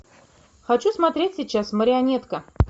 хочу смотреть сейчас марионетка